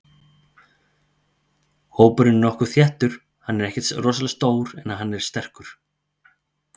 Hópurinn er nokkuð þéttur, hann er ekkert rosalega stór en hann er sterkur.